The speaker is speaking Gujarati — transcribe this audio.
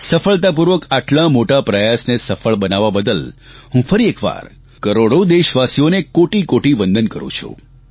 સફળતાપૂર્વક આટલા મોટા પ્રયાસને સફળ બનાવવા બદલ હું ફરી એકવાર કરોડો દેશવાસીઓને કોટી કોટી વંદન કરૂં છું